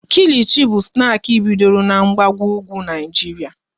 Kilichi bụ snaki bidoro n'mgbago ugwu Naijiria